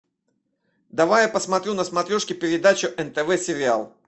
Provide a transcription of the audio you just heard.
давай я посмотрю на смотрешке передачу нтв сериал